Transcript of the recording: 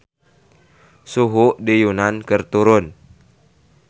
Suhu di Yunan keur turun